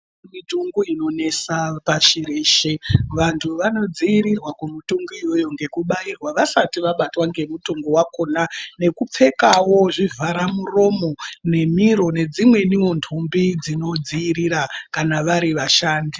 Mitongo inonesa pashi reshe vantu vanodziirirwa kumutongo iyoyo ngekubairwa vasati vabatwa ngemutongo wakhona nekupfekawo zvivhara muromo nemiro nedzimweniwo ntumbi dzinodzivirira kana vari vashandi.